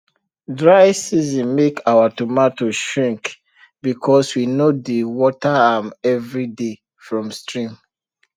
dry season make our tomato shrink because we no dey water am every day from stream